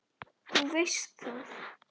Þú veist það.